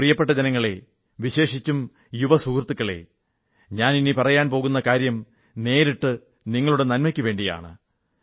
എന്റെ പ്രിയപ്പെട്ട ജനങ്ങളേ വിശേഷിച്ചും യുവ സുഹൃത്തുക്കളേ ഞാൻ ഇനി പറയാൻ പോകുന്ന കാര്യം നേരിട്ട് നിങ്ങളുടെ നന്മയ്ക്കു വേണ്ടിയാണ്